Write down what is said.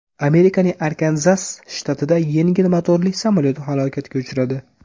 Amerikaning Arkanzas shtatida yengil motorli samolyot halokatga uchradi.